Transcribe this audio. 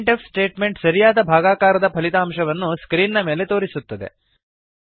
print F statement ಸರಿಯಾದ ಭಾಗಾಕಾರದ ಫಲಿತಾಂಶವನ್ನು ಸ್ಕ್ರೀನ್ ನ ಮೇಲೆ ತೋರಿಸುತ್ತದೆ